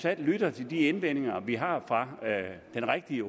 at lytte til de indvendinger vi har fra den rigtige